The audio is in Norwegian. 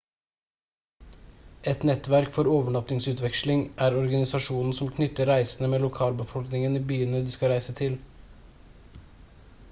et nettverk for overnattingsutveksling er organisasjonen som knytter reisende med lokalbefolkningen i byene de skal reise til